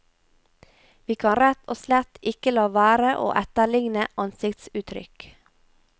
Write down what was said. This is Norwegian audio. Vi kan rett og slett ikke la være å etterligne ansiktsuttrykk.